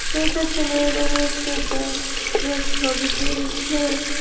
এইটা ছেলে দেখা যাচ্ছে যা যে ছবি তুলছে।